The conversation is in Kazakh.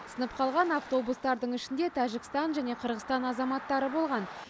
сынып қалған автобустардың ішінде тәжікстан және қырғызстан азаматтары болған